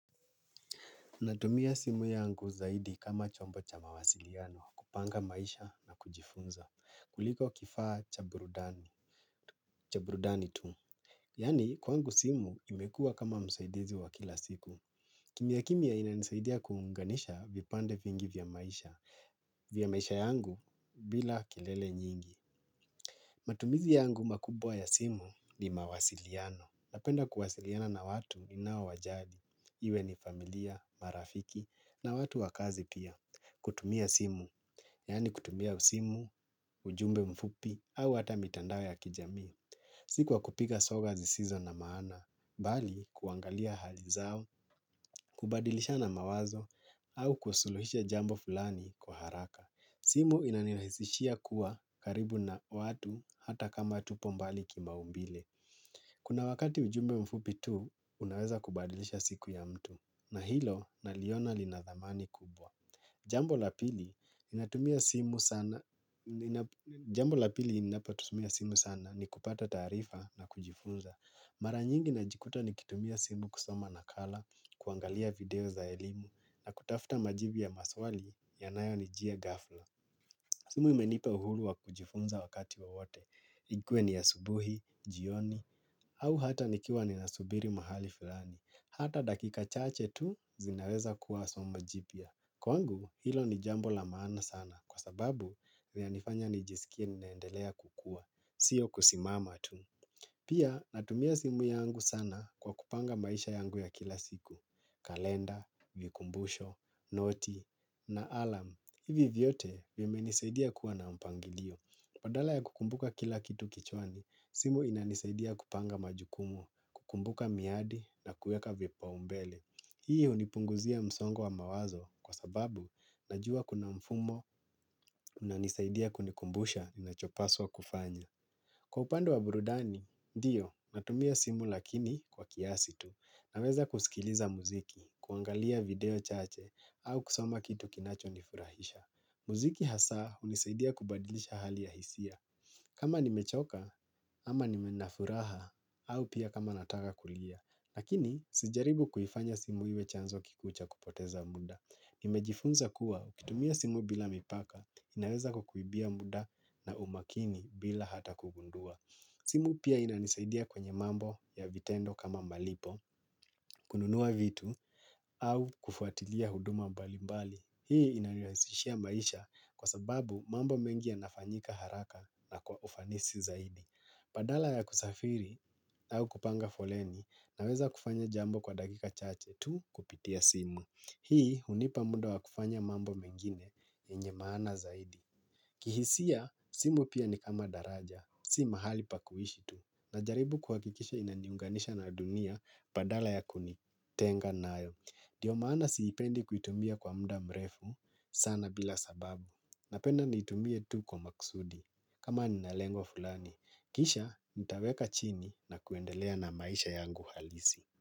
Natumia simu yangu zaidi kama chombo cha mawasiliano, kupanga maisha na kujifunza, kuliko kifaa cha burudani, cha brudani tu. Yani, kwangu simu imekua kama msaidizi wa kila siku. Kimya kimya inanisaidia kuunganisha vipande vingi vya maisha, vya maisha yangu bila kelele nyingi. Matumizi yangu makubwa ya simu ni mawasiliano. Napenda kuwasiliana na watu ni naowajali. Iwe ni familia, marafiki na watu wa kazi pia. Kutumia simu. Yani kutumia usimu, ujumbe mfupi au hata mitandao ya kijamii. Siku kwa kupika soga zisizo na maana. Bali kuangalia hali zao, kubadilishana mawazo au kusuluhisha jambo fulani kwa haraka. Simu inanirahisishia kuwa karibu na watu hata kama tupo mbali kimaumbile. Kuna wakati ujumbe mfupi tu, unaweza kubadilisha siku ya mtu, na hilo naliona lina dhamani kubwa. Jambo la pili ninapotumia simu sana ni kupata taarifa na kujifunza. Mara nyingi na jikuta ni kitumia simu kusoma nakala, kuangalia video za elimu, na kutafta majibu ya maswali yanayo nijia ghafla. Simu imenipa uhuru wa kujifunza wakati wowote. Ikuwe ni asubuhi, jioni, au hata nikiwa ninasubiri mahali fulani. Hata dakika chache tu zinaweza kuwa sumo jipya. Kwangu, hilo ni jambo la maana sana kwa sababu vinanifanya nijisikie ninaendelea kukua. Sio kusimama tu. Pia natumia simu yangu sana kwa kupanga maisha yangu ya kila siku. Kalenda, vikumbusho, noti na alarm. Hivi vyote, vimenisaidia kuwa na mpangilio. Padala ya kukumbuka kila kitu kichwani, simu inanisaidia kupanga majukumu, kukumbuka miadi na kuweka vipa umbele. Hii unipunguzia msongo wa mawazo kwa sababu, najua kuna mfumo, unanisaidia kunikumbusha nachopaswa kufanya. Kwa upande wa brudani, ndiyo, natumia simu lakini kwa kiasi tu. Naweza kusikiliza muziki, kuangalia video chache, au kusoma kitu kinacho nifurahisha. Muziki hasa unisaidia kubadilisha hali ya hisia. Kama nimechoka ama ninafuraha au pia kama nataka kulia. Nakini sijaribu kuifanya simu hiwe chanzo kikucha kupoteza muda. Nimejifunza kuwa kitumia simu bila mipaka inaweza kukuibia muda na umakini bila hata kugundua. Simu pia inanisaidia kwenye mambo ya vitendo kama malipo, kununua vitu au kufuatilia huduma mbali mbali. Hii inanirahisihhia maisha kwa sababu mambo mengi yanafanyika haraka na kwa ufanisi zaidi. Badala ya kusafiri au kupanga foleni naweza kufanya jambo kwa dakika chache tu kupitia simu. Hii hunipa muda wa kufanya mambo mengine yenye maana zaidi. Kihisia simu pia ni kama daraja, si mahali pa kuhishi tu. Najaribu kuhakikisha inaniunganisha na dunia badala ya kunitenga nayo. Dio maana siipendi kuitumia kwa muda mrefu sana bila sababu. Napenda niitumie tu kwa maksudi. Kama ninalengo fulani. Kisha nitaweka chini na kuendelea na maisha yangu halisi.